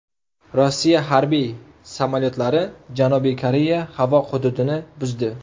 Rossiya harbiy samolyotlari Janubiy Koreya havo hududini buzdi.